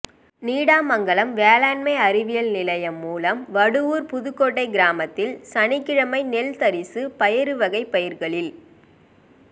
நீடாமங்கலம் வேளாண்மை அறிவியல் நிலையம் மூலம் வடுவூா் புதுகோட்டை கிராமத்தில் சனிக்கிழமை நெல் தரிசு பயறுவகைப் பயிா்களில்